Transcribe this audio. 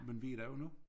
Men der jo nu